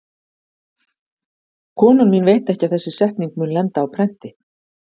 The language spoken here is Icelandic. Konan mín veit ekki að þessi setning mun lenda á prenti.